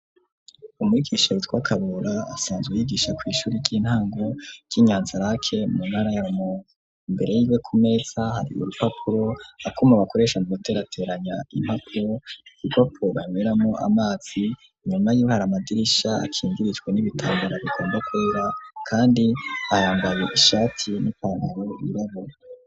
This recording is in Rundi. Umwigisha yitwa Kabura asanzwe yigisha kw'ishuri ry'intango ryi Nyanza-Lac mu ntara ya Rumonge, imbere yiwe ku meza hari urupapuro, akuma bakoresha mu guterateranya impapuro igipo banyweramwo amazi inyuma yiwe hari amadirisha akingirijwe n'ibitambara bigomba kwera kandi ayambaye ishati n'ipantaro y'irabura.